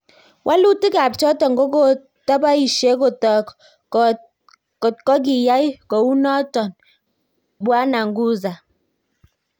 Walutik ab choton ko kotabaisie kotak kot ko kiyai kounoton Bw Nguza